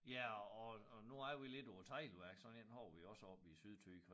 Ja og og og nu er vi lidt på et teglværk sådan en har vi også oppe i Sydthy